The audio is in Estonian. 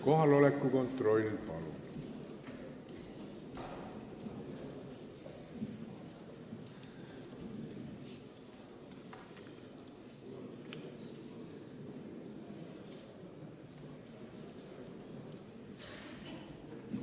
Kohaloleku kontroll, palun!